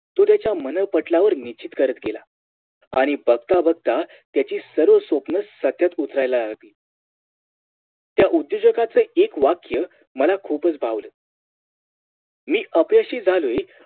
तो त्याच्या मनःपटलावर निश्चित करत गेला आणि बघता बघता त्याची सर्व स्वप्न सातत्यात उतरू लागली त्या उद्योजगच एक वाक्य मला खूपच भावलं मी अपयशी झालोय